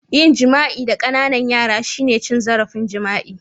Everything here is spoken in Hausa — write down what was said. Yin jima'i da Ƙananan yara shine cin zarafin jima'i